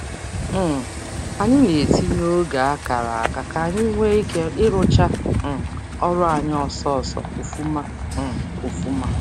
um Anyị na-etinye oge a kara aka k'anyi nwee ike ị rụcha um ọrụ anyị ọsọọsọ na ofuma um ofuma